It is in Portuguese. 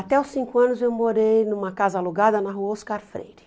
Até os cinco anos eu morei numa casa alugada na rua Oscar Freire.